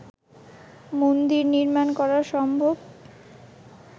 মন্দির নির্মান করা সম্ভব